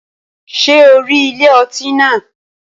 Ṣé o rí ilé ọtí náà?